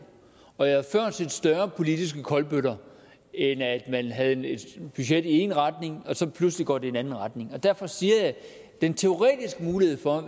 og jeg har før set større politiske kolbøtter end at man havde et budget i én retning og så pludselig går det i en anden retning og derfor siger jeg at den teoretiske mulighed for at